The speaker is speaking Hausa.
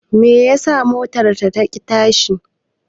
Meye yasa motar ta ki tashi?